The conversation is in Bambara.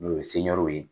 N'o ye seru ye